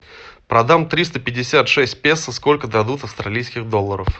продам триста пятьдесят шесть песо сколько дадут австралийских долларов